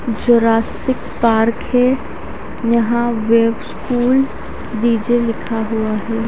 Jurassic Park है यहां wave school DJ लिखा हुआ है।